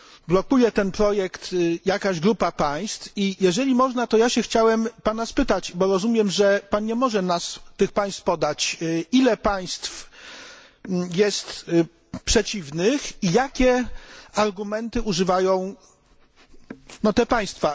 Blokuje ten projekt jakaś grupa państw i, jeżeli można, to ja się chciałem Pana spytać bo rozumiem, że Pan nie może nam tych państw podać ile państw jest przeciwnych i jakich argumentów używają te państwa.